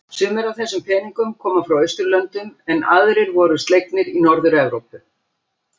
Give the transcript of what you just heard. Sumir af þessum peningnum koma frá Austurlöndum en aðrir voru slegnir í Norður-Evrópu.